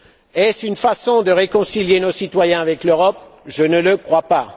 Est ce une façon de réconcilier nos citoyens avec l'Europe? Je ne le crois pas.